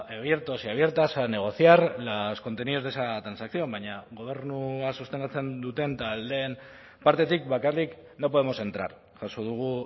abiertos y abiertas a negociar los contenidos de esa transacción baina gobernua sostengatzen duten taldeen partetik bakarrik no podemos entrar jaso dugu